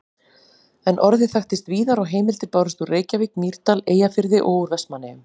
En orðið þekktist víðar og heimildir bárust úr Reykjavík, Mýrdal, Eyjafirði og úr Vestmannaeyjum.